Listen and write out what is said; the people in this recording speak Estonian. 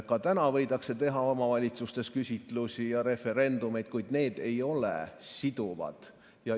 Ka täna võidakse teha omavalitsustes küsitlusi ja referendumeid, kuid need ei ole siduvad.